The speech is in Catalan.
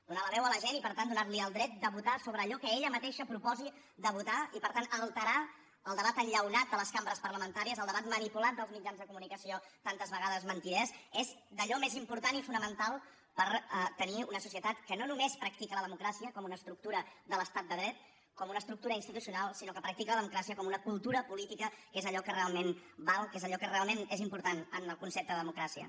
donar la veu a la gent i per tant donarli el dret de votar sobre allò que ella mateixa proposi de votar i per tant alterar el debat enllaunat de les cambres parlamentàries el debat manipulat dels mitjans de comunicació tantes vegades mentiders és d’allò més important i fonamental per tenir una societat que no només practica la democràcia com una estructura de l’estat de dret com una estructura institucional sinó que practica la democràcia com una cultura política que és allò que realment val que és allò que realment és important en el concepte de democràcia